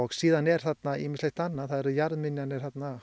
síðan er þarna ýmislegt annað það eru jarðmyndanir